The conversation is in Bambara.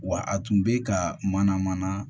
Wa a tun bɛ ka mana mana